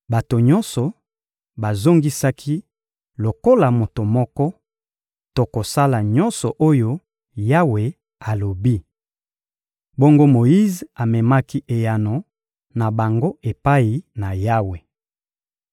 Bato nyonso bazongisaki lokola moto moko: — Tokosala nyonso oyo Yawe alobi. Bongo Moyize amemaki eyano na bango epai na Yawe.